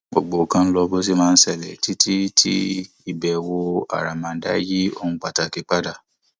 gbogbo nǹkan ń lọ bó ṣe máa ń ṣẹlẹ títí tí ìbẹwò àràmàǹdà yí ohun pàtàkì padà